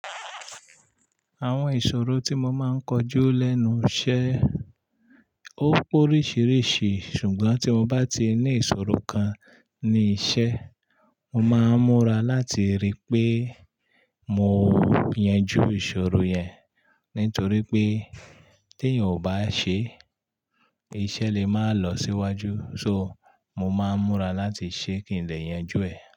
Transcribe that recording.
Àwọn ìṣòro tí mo máa ń kojú lẹ́nu iṣẹ́ ó pé oríṣìíríṣìí ṣùgbọ́n tí mo bá ti ní ìṣòro kan ní iṣẹ́, mo máa ń múra láti rí pé mo yanjú ìṣòro yẹn nítorí pé tí èèyàn kò bá ṣe, iṣẹ́ lè máa lọ síwájú. So mo máa ń múra láti ṣe kì ín dẹ̀ yanjú ẹ̀